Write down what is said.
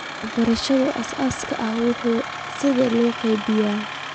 Waxbarashada aasaasiga ah waa in sidaas loo qaabeeyaa.